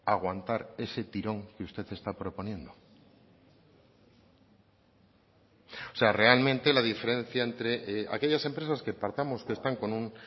aguantar ese tirón que usted está proponiendo o sea realmente la diferencia entre aquellas empresas que partamos que están con un